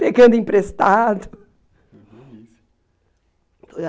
Pegando emprestado. Uma delícia.